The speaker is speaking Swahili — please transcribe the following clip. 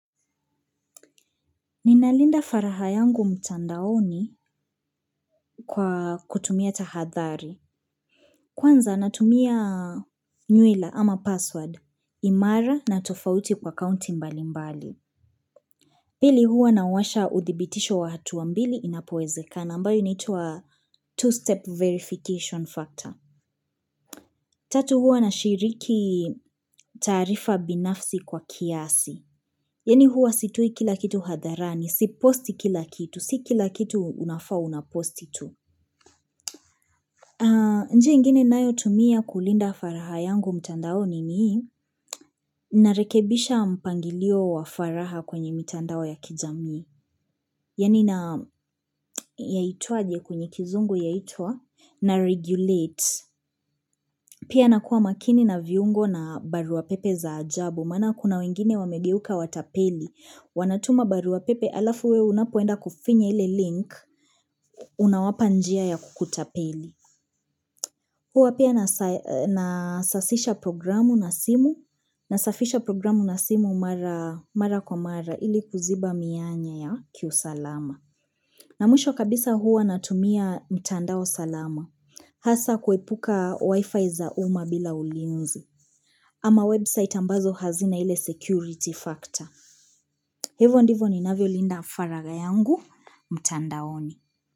Ninalinda furaha yangu mtandaoni kwa kutumia tahadhari. Kwanza natumia nyuela ama password, imara na tofauti kwa akaunti mbali mbali. Pili huwa nawasha uthibitisho wa hatua mbili inapoezekan ambayo inaitwa two-step verification factor. Tatu huwa nashiriki taarifa binafsi kwa kiasi. Yaani huwa sitoi kila kitu hadharani, siposti kila kitu, si kila kitu unafaa una posti tu. Njia ingine ninayotumia kulinda faraha yangu mtandaoni ni narekebisha mpangilio wa faraha kwenye mitandao ya kijamii. Yaani na yaitwaje kwenye kizungu yaitwa naregulate. Pia nakua makini na viungo na barua pepe za ajabu. Maana kuna wengine wamegeuka watapeli. Wanatuma barua pepe alafu we unapoenda kufinya ile link unawapa njia ya kukutapeli. Huwa pia nasasisha programu na simu, nasafisha programu na simu mara kwa mara ili kuziba mianya ya kiusalama. Na mwisho kabisa huwa natumia mitandao salama. Hasa kuepuka wifi za umma bila ulinzi. Ama website ambazo hazina ile security factor. Hivo ndivo ninavyolinda faraha yangu, mtandaoni.